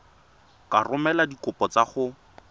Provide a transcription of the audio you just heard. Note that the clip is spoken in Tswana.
ka romela dikopo tsa gago